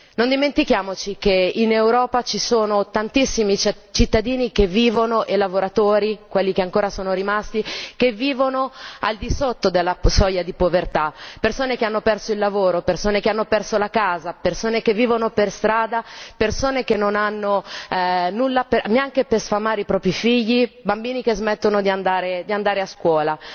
Non dimentichiamoci che in Europa ci sono tantissimi cittadini e lavoratori, quelli che ancora sono rimasti, che vivono al di sotto della soglia di povertà, persone che hanno perso il lavoro, persone che hanno perso la casa, persone che vivono per strada, persone che non hanno nulla neanche per sfamare i propri figli, bambini che smettono di andare a scuola.